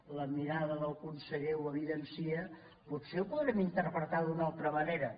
la mirada del conseller ho evidencia potser ho podrem interpretar d’una altra manera